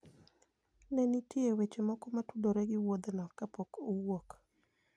Ne ni nitie weche moko motudore gi wuodhno kapok uwuok.